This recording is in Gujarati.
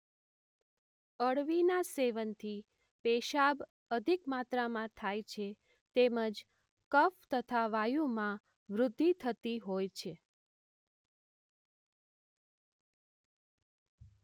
અળવી સેવનથી પેશાબ અધિક માત્રામાં થાય છે તેમજ કફ તથા વાયુમાં વૃદ્ધિ થતી હોય છે.